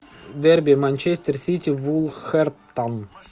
дерби манчестер сити вулверхэмптон